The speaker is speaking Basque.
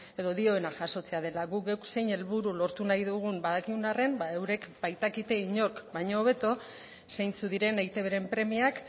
edo dioena jasotzea dela guk geuk zein helburu lortu nahi dugun badakigun arren eurek baitakite inork baino hobeto zeintzuk diren eitbren premiak